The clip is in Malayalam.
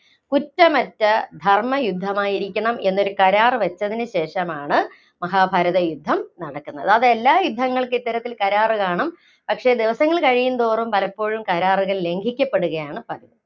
കുറ്റമറ്റ ധര്‍മയുദ്ധമായിരിക്കണം എന്നൊരു കരാര്‍ വച്ചതിനു ശേഷമാണ് മഹാഭാരത യുദ്ധം നടക്കുന്നത്. അതെല്ലാ യുദ്ധങ്ങള്‍ക്കും ഇത്തരത്തില്‍ കരാറ് കാണും. പക്ഷേ, ദിവസങ്ങള്‍ കഴിയുന്തോറും പലപ്പോഴും കരാറ് ലംഘിക്കപ്പെടുകയാണ് പതിവ്.